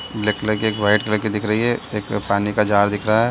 Black colour की एक white colour की दिख रही है एक पानी का जार दिख रही है।